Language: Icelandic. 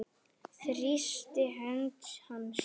Þrýsti hönd hans.